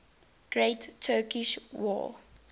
great turkish war